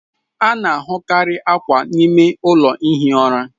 A na-ahụkarị akwa n'ime ụlọ ihi ụra.